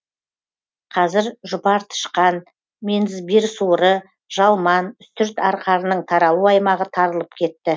қазір жұпартышқан мензбир суыры жалман үстірт арқарының таралу аймағы тарылып кетті